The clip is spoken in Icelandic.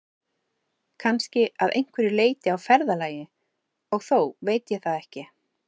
Kannski að einhverju leyti á ferðalagi, og þó veit ég það ekki.